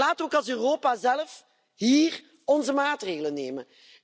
Maar laten we ook als Europa zelf hier onze maatregelen nemen.